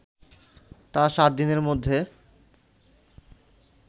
তা ৭ দিনের মধ্যে